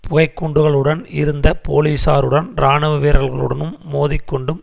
புகைக் குண்டுகளுடன் இருந்த போலீசாருடனும் இராணுவ வீரர்களுடனும் மோதிக்கொண்டும்